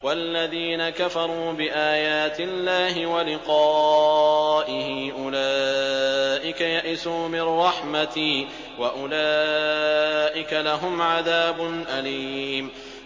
وَالَّذِينَ كَفَرُوا بِآيَاتِ اللَّهِ وَلِقَائِهِ أُولَٰئِكَ يَئِسُوا مِن رَّحْمَتِي وَأُولَٰئِكَ لَهُمْ عَذَابٌ أَلِيمٌ